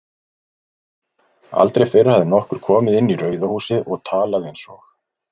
Aldrei fyrr hafði nokkur komið inn í Rauða húsið og talað einsog